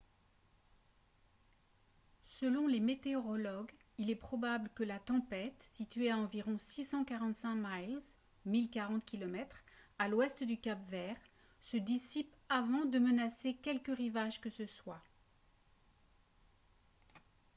selon les météorologues il est probable que la tempête située à environ 645 miles 1 040 km à l’ouest du cap-vert se dissipe avant de menacer quelque rivage que ce soit